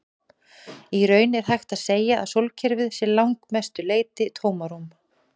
Í raun er hægt að segja að sólkerfið sé að langmestu leyti tómarúm.